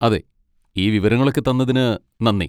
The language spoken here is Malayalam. അതെ, ഈ വിവരങ്ങളൊക്കെ തന്നതിന് നന്ദി.